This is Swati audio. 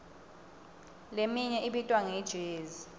leminye ibitwa nge jezi